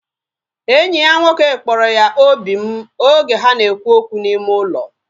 Enyi ya nwoke kpọrọ ya obim oge ha na ekwu okwu n'ime ụlọ